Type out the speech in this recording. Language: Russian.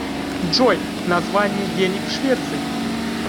джой название денег в швеции